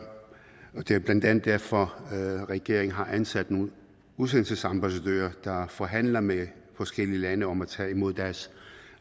det er blandt andet derfor at regeringen har ansat nogle udsendelsesambassadører der forhandler med forskellige lande om at tage imod deres